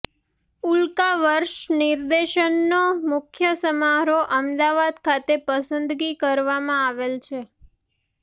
ઉલ્કાવર્ષ્ાા નિદર્શનનો મુખ્ય સમારોહ અમદાવાદ ખાતે પસંદગી કરવામાં આવેલ છે